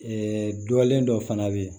dɔlen dɔ fana bɛ yen